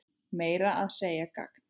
Meira að segja gagn.